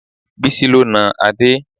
Bísí ló na Adé